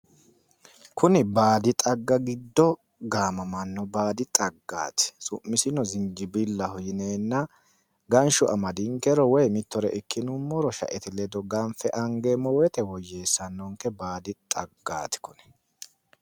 Kuni baadi xagga giddo gaamamanno baadi xaggaati. Su'misino zinjibillaho yineenna ganshu amadinkero woyi mitore ikkinummoro shaete ledo ganfe angummoro woyyeessanonke baadi xaggaati kuni.